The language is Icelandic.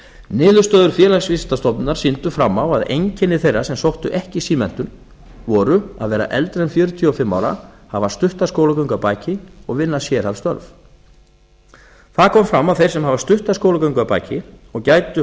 niðurstöður félagsvísindastofnunar sýndu fram á að einkenni þeirra sem sóttu ekki símenntun voru að vera eldri en fjörutíu og fimm ára hafa stutta skólagöngu að baki og vinna sérhæfð störf það kom fram að þeir sem hafa stutta skólagöngu að baki og gætu